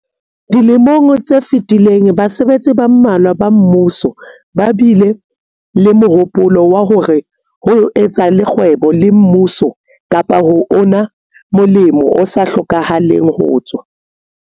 Dilemong tse fetileng basebetsi ba mmalwa ba mmuso ba bile le mohopolo wa hore ho etsa le kgwebo le mmuso kapa ho una molemo o sa hlokahaleng ho tswa